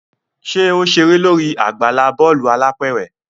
ṣe o ṣere lórí àgbàlá bọọlu alápẹrẹ?